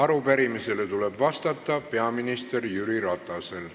Arupärimisele tuleb vastata peaminister Jüri Ratasel.